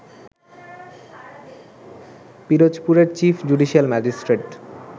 পিরোজপুরের chief judicial magistrate